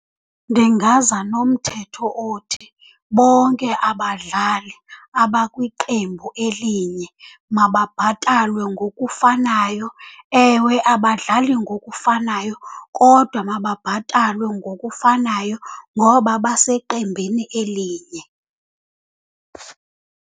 Ndingaza nomthetho othi bonke abadlali abakwiqembu elinye mababhatalwe ngokufanayo. Ewe, abadlali ngokufanayo kodwa mababhatalwe ngokufanayo ngoba baseqembini elinye.